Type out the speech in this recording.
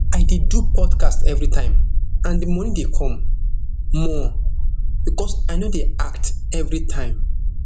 i dey do podcast everitime and di money dey come more becos i no dey act everitime